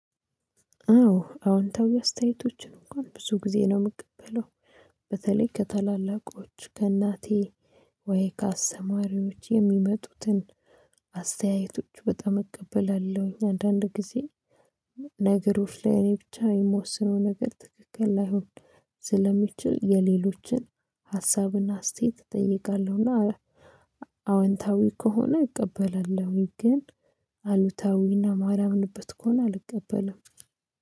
አዎ አዎንታዊ አስተያየቶችን እንኳን ብዙ ጊዜ ነው ምቀበለው በተለይ ከታላላቆች ከእናቴ ወይ ከአሰማሪዎች የሚመጡትን አስተያየቶች በጣም እቀበላለሁ። አንዳንድ ጊዜ ነገሮች ላይ እኔ ብቻ የምወስነው ነገር ትክክል ላይሆን ስለሚችል የሌሎችን ሀሳብና አስተያየት እጠይቃለሁና አዎ አወንታዊ ከሆነ እቀበላለሁኝ። ግን አሉታዊና እና ማላምንበት ከሆነ አልቀበለም